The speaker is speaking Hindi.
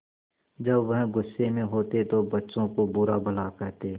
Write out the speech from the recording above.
जब वह गुस्से में होते तो बच्चों को बुरा भला कहते